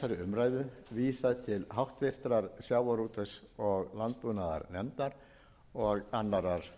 umræðu vísað til háttvirtrar sjávarútvegs og landbúnaðarnefndar og annarrar